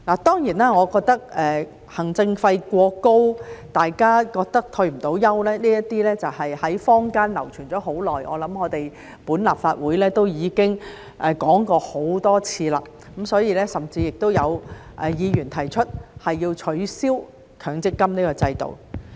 當然，我認為行政費過高，大家認為積存的金額不足以退休，這些在坊間流傳了很長時間，我想立法會亦已經討論過很多次，所以甚至有議員提出要取消強積金制度。